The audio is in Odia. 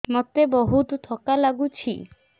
ମୋତେ ବହୁତ୍ ଥକା ଲାଗୁଛି